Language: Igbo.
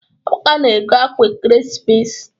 Amaka na-ego akwa ekeresimesi.